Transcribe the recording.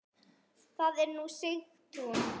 Þar er nú Sigtún.